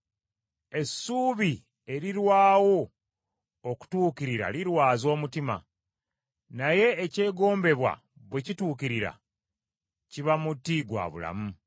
Essuubi erirwawo okutuukirira lirwaza omutima, naye ekyegombebwa bwe kituukirira kiba muti gwa bulamu.